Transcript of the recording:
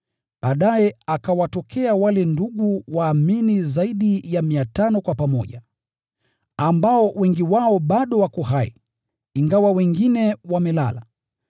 Baadaye akawatokea wale ndugu waumini zaidi ya 500 kwa pamoja, ambao wengi wao bado wako hai, ingawa wengine wamelala.